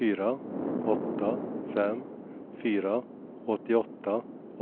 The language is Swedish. fyra åtta fem fyra åttioåtta